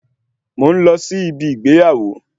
Mò ń lọ sí ibi ìgbéyàwó